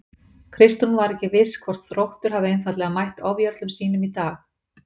Kristrún var ekki viss hvort Þróttur hafi einfaldlega mætt ofjörlum sínum í dag.